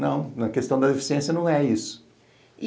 Não, na questão da deficiência não é isso.